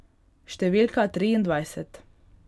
Številka triindvajset.